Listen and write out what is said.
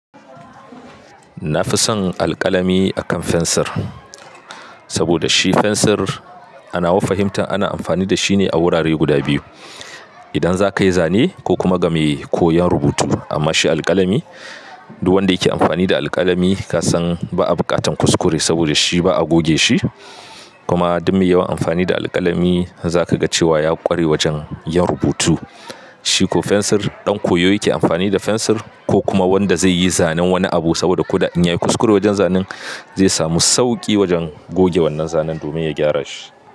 Na fi son alƙalami akan fensir, saboda shi fensir ana wa fahimta ana amfani da shi ne a wurare guda biyu. Idan za ka yi zane ko kuma ga mai koyon rubutu. Amma shi alƙalami, duk wanda yake amfani da alƙalami ka san ba a bukatan kuskure saboda shi ba a goge shi. Kuma duk mai yawan amfani da alƙalami, zaka ga cewa ya ƙware wajen yin rubutu. Shi ko fensir, ɗan koyo yake amfani da fensir ko kuma wanda zai yi zanen wani abu saboda ko da anyi kuskure wajen zanen, zai samu sauƙi wajen goge wannan zanen domin ya gyara shi.